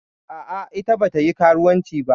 A'a, ita bata yi karuwanci ba.